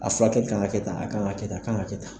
A furakɛli kan ka kɛ tan, a kan ka kɛ tan, a kan ka kɛ tan